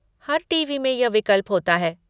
हर TV. में यह विकल्प होता है।